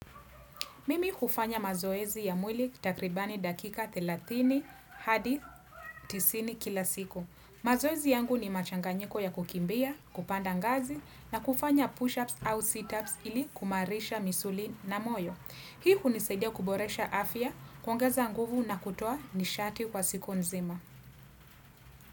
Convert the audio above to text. Mimi hufanya mazoezi ya mwili takribani dakika thelathini hadi tisini kila siku. Mazoezi yangu ni machanganyiko ya kukimbia, kupanda ngazi na kufanya push-ups au sit-ups ili kumarisha misuli na moyo. Hii hunisaidia kuboresha afya kuongeza nguvu na kutoa nishati kwa siku nzima.